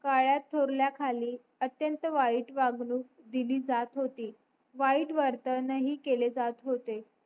काळ्या थोरल्या खाली अथ्यंत वाईट वागणूक दिली जात होती वाईट वर्तन हि केले जात होते